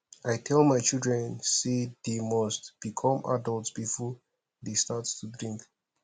i tell my children say dey must become adult before dey start to drink